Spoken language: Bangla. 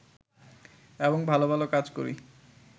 এবং ভালো ভালো কাজ করি